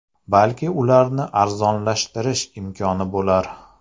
Balki ularni arzonlashtirish imkoni bo‘lar.